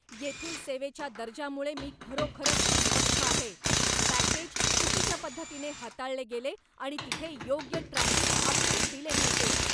येथील सेवेच्या दर्जामुळे मी खरोखरच अस्वस्थ आहे. पॅकेज चुकीच्या पद्धतीने हाताळले गेले आणि तिथे योग्य ट्रॅकिंग अपडेट दिले नव्हते!